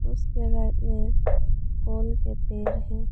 उसके राइट में कोन के पेड़ हैं।